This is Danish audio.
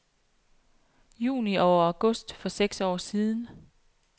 Juni og august for seks år siden .